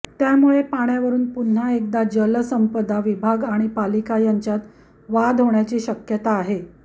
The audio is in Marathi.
त्यामुळे पाण्यावरून पुन्हा एकदा जलसंपदा विभाग आणि पालिका यांच्यात वाद होण्याची शक्यता आहे